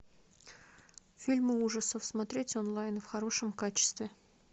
фильмы ужасов смотреть онлайн в хорошем качестве